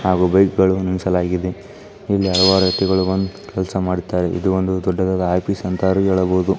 ಆಗು ಬೈಕ್ಗಳು ನಿಲ್ಸಲಾಗಿದೆ ಇಲ್ಲಿ ಅಲವಾರು ವ್ಯಕ್ತಿ ಗಳು ಬಂದು ಕೆಲಸ ಮಾಡುತ್ತಾ ಇದು ಒಂದು ದೊಡ್ಡದಾದ ಆಫೀಸ್ ಅಂತ ಏಳಬಹುದು.